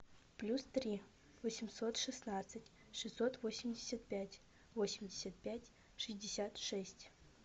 плюс три восемьсот шестнадцать шестьсот восемьдесят пять восемьдесят пять шестьдесят шесть